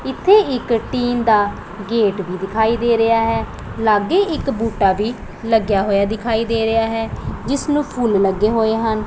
ਇੱਥੇ ਇੱਕ ਟਿਨ ਦਾ ਗੇਟ ਭੀ ਦਿਖਾਈ ਦੇ ਰਿਹਾ ਹੈ ਲਾਗੇ ਇੱਕ ਬੂਟਾ ਵੀ ਲੱਗਿਆ ਹੋਇਆ ਦਿਖਾਈ ਦੇ ਰਿਹਾ ਐ ਜਿਸ ਨੂੰ ਫੁੱਲ ਲੱਗੇ ਹੋਏ ਹਨ।